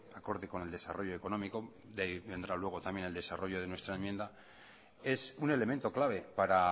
acorde con el desarrollo económico vendrá luego también el desarrollo de nuestra enmienda es un elemento clave para